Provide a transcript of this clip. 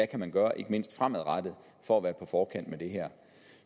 kan gøre ikke mindst fremadrettet for at være på forkant med det her